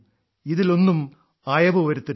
ഇതിൽ ഒന്നും അയവ് വരുത്തരുത്